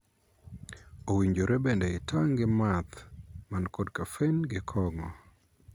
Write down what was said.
Owinjore bende itang' gi math man kod Kafen gi kong'o.